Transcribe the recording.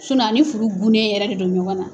a ni furu gunnen yɛrɛ de don ɲɔgɔn na!